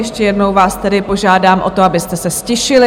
Ještě jednou vás tedy požádám o to, abyste se ztišili.